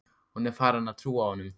Hún er farin að trúa honum.